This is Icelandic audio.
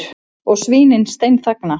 Og svínin steinþagna.